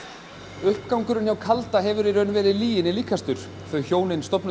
uppgangurinn hjá kalda hefur í raun verið lyginni líkastur þau hjónin stofnuðu